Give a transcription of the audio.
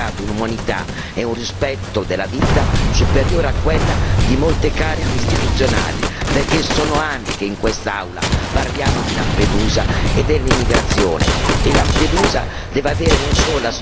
Lampedusa e i suoi abitanti hanno dimostrato un'umanità e un rispetto della vita superiore a quella di molte cariche istituzionali, perché sono anni che in quest'Aula parliamo di Lampedusa e dell'immigrazione!